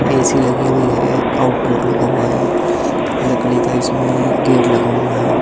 AC लगी हुई है आउटडोर लगा हुआ है लकड़ी का इसमें गेट लगा हुआ है ।